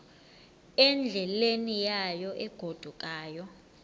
endleleni yayo egodukayo